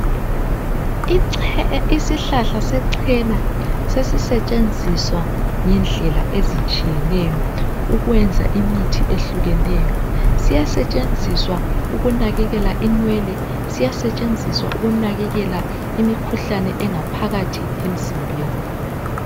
isihlahla sechena sesisetshenziswa ngendlela ezitshiyeneyo ukwenza imithi ehluneyo siyasetshenziswa ukunakelela inwele siyasetshenziswa ukunakelela imikhuhlane engaphakathi emzimbeni